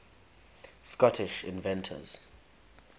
scottish inventors